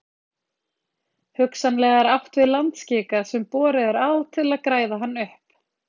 Hugsanlega er átt við landskika sem borið er á til að græða hann upp.